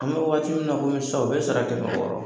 An bɛ waati min na komi sisana u bɛ sara kɛmɛ wɔɔrɔ.